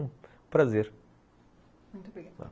Prazer, muito obrigada.